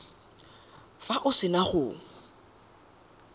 fa o se na go